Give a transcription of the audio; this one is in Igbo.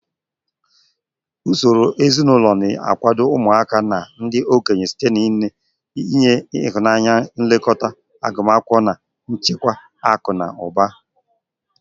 Usoro ezinụlọ na-akwado ụmụaka na ndị okenye site n'inye ịhụnanya, nlekọta, agụmakwụkwọ, na nchekwa akụ na ụba.